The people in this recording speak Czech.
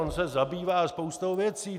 On se zabývá spoustou věcí.